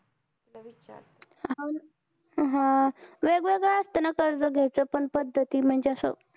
हम्म वेगवेगळं असत ना कर्ज घ्याच पण पद्धती म्हणजे अस